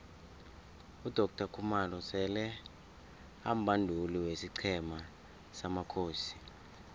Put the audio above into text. udoctor khumalo sele ambanduli wesiqhema samakhosi